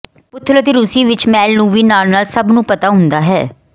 ਪੁਥਲ ਅਤੇ ਰੂਸੀ ਵਿੱਚ ਮੈਲ ਨੂੰ ਵੀ ਨਾਲ ਨਾਲ ਸਭ ਨੂੰ ਪਤਾ ਹੁੰਦਾ ਹੈ